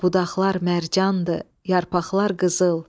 Budaqlar mərcandır, yarpaqlar qızıl.